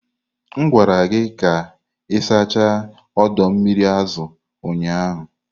M gwara gị ka ị sachaa ọdọ mmiri azụ ụnyahụ!